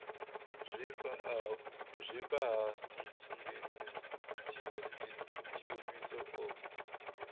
zwifha ha ntsundeni tshiofhiso o